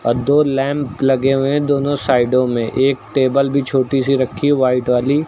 और दो लैंप लगे हुए हैं दोनों साइडों में। एक टेबल भी छोटी सी रखी है व्हाइट वाली।